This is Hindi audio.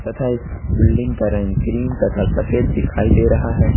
था इस बिल्डिंग का रंग क्रीम तथा सफेद दिखाई दे रहा है।